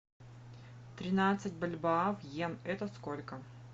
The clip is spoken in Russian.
тринадцать бальбоа в иен это сколько